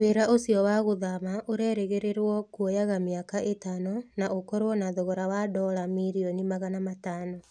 Wĩra ũcio wa gũthama ũreerĩgĩrĩirũo kuoyaga mĩaka ĩtano na ũkorũo na thogora wa dola milioni magana matano.